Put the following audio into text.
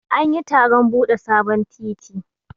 An yi taron bude sabon titi.